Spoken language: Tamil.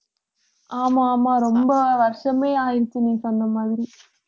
ஆமா ஆமா ரொம்ப வருஷமே ஆயிடுச்சு நீ சொன்ன மாதிரி